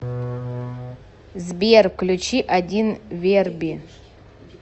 сбер включи один верби